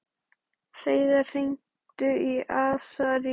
Hreiðar, hringdu í Asarías.